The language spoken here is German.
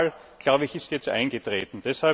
Und so ein Fall, glaube ich, ist jetzt eingetreten.